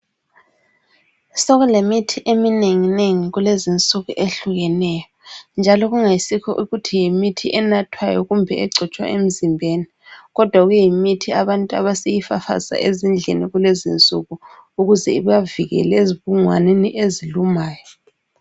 Sokule mithi eminenginengi kulezi insuku ehlukeneye. Njalo kungasikho ukuthi yimithi enathwayo kumbe egcotshwa emzimbeni. Kodwa kuyi mithi abantu abasebeyifafaza ezindlini kulezi insuku. Ukuze ibavikele ezibungwaneni ezilumayo.